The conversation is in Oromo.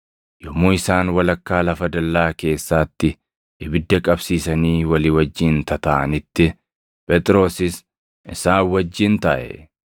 Yommuu isaan walakkaa lafa dallaa keessaatti ibidda qabsiisanii walii wajjin tataaʼanitti Phexrosis isaan wajjin taaʼe.